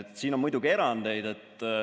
Siin on muidugi erandeid.